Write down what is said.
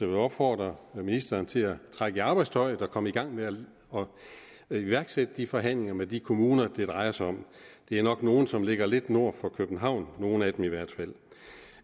vil opfordre ministeren til at trække i arbejdstøjet og komme i gang med at iværksætte forhandlinger med de kommuner det drejer sig om det er nok nogle kommuner som ligger lidt nord for københavn nogle af dem i hvert fald